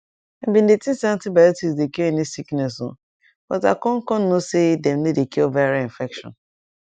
i bin dey think say antibiotics dey cure any sickness o but i con con know say dem no dey cure viral infection